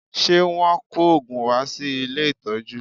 Ṣe Wọ́n kò òògùn wá sí ilé ìtọ́jú?